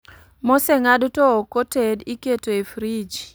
Moseng'ad to ok oted iketo e frij